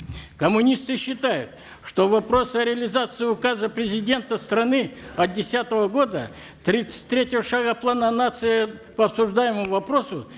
коммунисты считают что вопрос о реализации указа президента страны от десятого года тридцать третьего шага плана нации по обсуждаемому вопросу